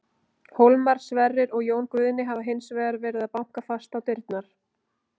Hólmar, Sverrir og Jón Guðni hafa hins vegar verið að banka fast á dyrnar.